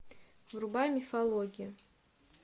врубай мифологию